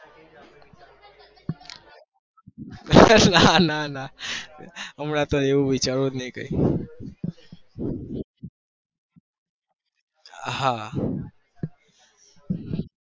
નાં ના હમણાં તો એવો વિચારવું નહી હા